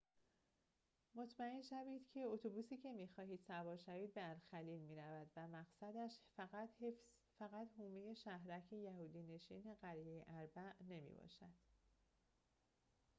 مطمئن شوید که اتوبوسی که می‌خواهید سوار شوید به الخلیل می‌رود و مقصدش فقط حومه شهرک یهودی نشین قریه أربع نمی‌باشد